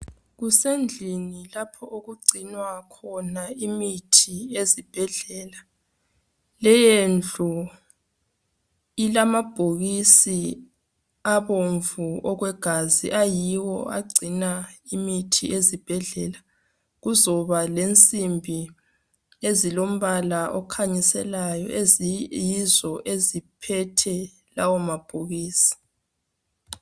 Kusendlini lapho okugcinwa khona imithi ezibhedlela, leyondlu ilamabhokisi abomvu okwegazi ayiwo agcina imithi ezibhedlela, kuzoba lensimbi ezilombala okhanyiselayo eziyizo eziphethe lawomabhokisi.